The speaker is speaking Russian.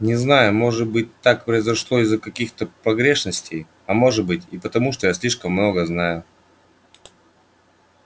не знаю может быть так произошло из-за каких-то погрешностей а может быть и потому что я слишком много знаю